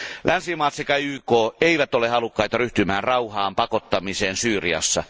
Länsimaat sekä YK eivät ole halukkaita ryhtymään rauhaan pakottamiseen Syyriassa.